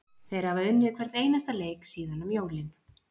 Þeir hafa unnið hvern einasta leik síðan um jólin.